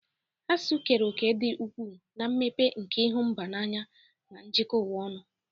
Asụsụ keere òkè dị ukwuu na mmepe nke ịhụ mba n'anya na ijikọ ụwa ọnụ.